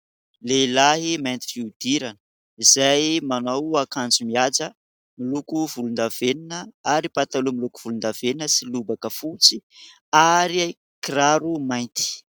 Lehilahy mainty fihodirana, izay manao akanjo mihaja miloko volon-davenona ary pataloha miloko volon-davenona sy lobaka fotsy ary kiraro mainty.